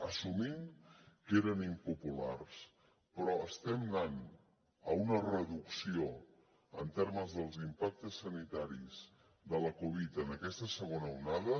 assumint que eren impopulars però estem anant a una reducció en termes dels impactes sanitaris de la covid en aquesta segona onada